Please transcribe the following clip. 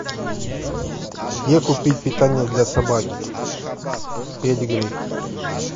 где купить питание для собаки педигри